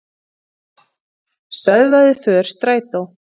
Stöðvaði för strætó